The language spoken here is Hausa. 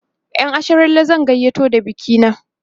ƴan asharalle zan gayyato da bikina